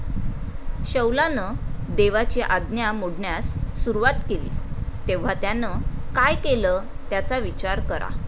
शौलानं देवाची आज्ञा मोडण्यास सुरवात केली, तेव्हा त्यानं काय केलं त्याचा विचार करा.